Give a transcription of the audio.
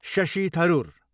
Shashi Tharoor